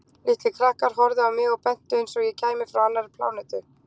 Litlir krakkar horfðu á mig og bentu einsog ég kæmi frá annarri plánetu.